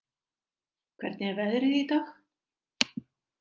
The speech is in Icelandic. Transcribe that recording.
, hvernig er veðrið í dag?